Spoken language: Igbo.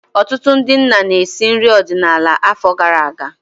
Ọtụtụ ndị nna na-esi nri ọdịnala afọ gara aga.